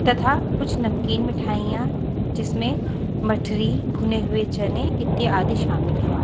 तथा कुछ नमकीन मिठाइयां जिसमें मठरी भुने हुए चने इत्यादि शामिल है।